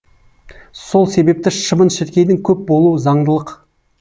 сол себепті шыбын шіркейдің көп болуы заңдылық